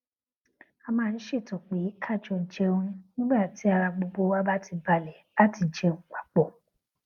a máa ń ṣètò pé ká jọ jẹun nígbà tí ara gbogbo wa bá ti balè láti jẹun papò